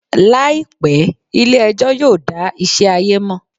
Làìpé, ilé ẹjọ́ yóò dá ìṣe ayé mọ̀